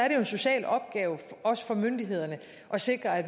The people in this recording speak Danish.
en social opgave også for myndighederne at sikre at